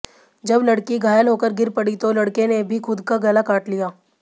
जब लड़की घायल होकर गिर पड़ी तो लड़के ने भी खुद का गला काट लिया